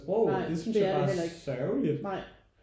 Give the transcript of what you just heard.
Nej det er det heller ikke nej